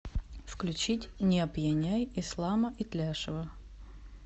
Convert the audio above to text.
включить не опьяняй ислама итляшева